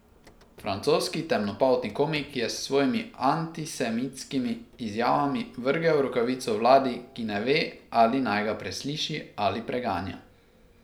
Francoski temnopolti komik je s svojimi antisemitskimi izjavami vrgel rokavico vladi, ki ne ve, ali naj ga presliši ali preganja.